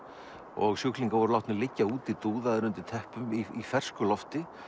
og sjúklingar voru látnir liggja úti dúðaðir undir teppum í fersku lofti